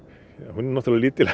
hún er náttúrulega lítil